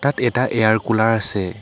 ইয়াত এটা air cooler আছে।